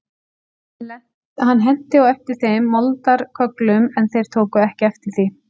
Hann henti á eftir þeim moldarkögglum en þeir tóku ekki eftir því.